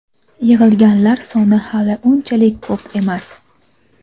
Yig‘ilganlar soni hali unchalik ko‘p emas.